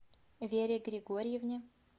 вере григорьевне